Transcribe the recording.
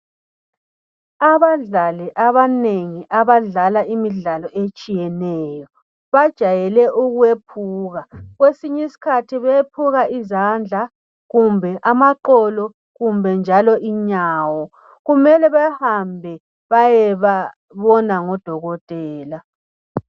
Abadlali abanengi abadlala imidlalo etshiyeneyo, bajayele ukwephuka. Kwesinyiskhathi bephuka izandla kumbe amaqolo kumbe njalo inyawo. Kumele behambe bayebabona ngudokotela.